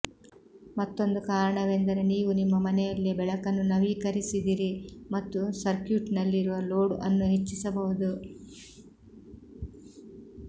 ಮತ್ತೊಂದು ಕಾರಣವೆಂದರೆ ನೀವು ನಿಮ್ಮ ಮನೆಯಲ್ಲೇ ಬೆಳಕನ್ನು ನವೀಕರಿಸಿದಿರಿ ಮತ್ತು ಸರ್ಕ್ಯೂಟ್ನಲ್ಲಿರುವ ಲೋಡ್ ಅನ್ನು ಹೆಚ್ಚಿಸಬಹುದು